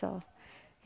Só.